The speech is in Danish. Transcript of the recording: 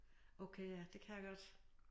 Okay ja det kan jeg godt